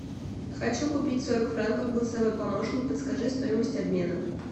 хочу купить сорок франков голосовой помощник подскажи стоимость обмена